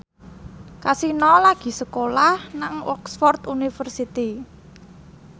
Kasino lagi sekolah nang Oxford university